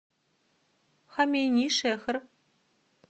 хомейнишехр